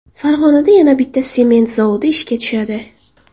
Farg‘onada yana bitta sement zavod ishga tushadi.